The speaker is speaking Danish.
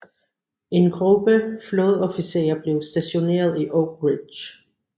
En gruppe flådeofficerer blev stationeret i Oak Ridge